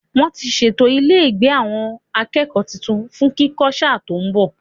Wọ́n ti ṣètò ilé ìgbé àwọn akẹ́kọ̀ọ́ tuntun fún kíkọ́ sáà tó ń bọ̀.